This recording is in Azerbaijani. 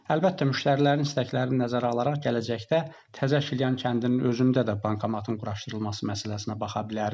Əlbəttə, müştərilərin istəklərini nəzərə alaraq gələcəkdə Təzəşilyan kəndinin özündə də bankomatın quraşdırılması məsələsinə baxa bilərik.